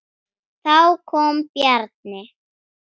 Þá kom Bjarni.